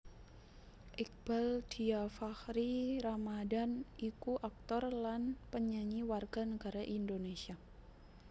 Iqbaal Dhiafakhri Ramadhan iku aktor lan penyanyi warga negara Indonésia